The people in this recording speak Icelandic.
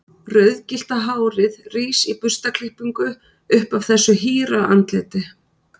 Rauðgyllta hárið rís í burstaklippingu upp af þessu hýra andliti.